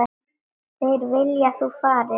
Þeir vilja að þú farir.